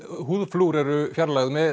húðflúr eru fjarlægð með